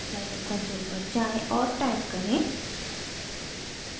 scilab console पर जाएँ और टाइप करें: